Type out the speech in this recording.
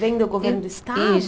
Vem do governo do estado? Isso